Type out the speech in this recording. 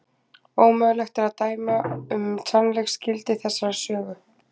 Ómögulegt er að dæma um sannleiksgildi þessarar sögu.